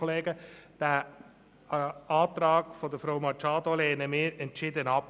Den Antrag von Grossrätin Machado lehnen wir entschieden ab.